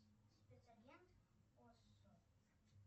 спецагент осо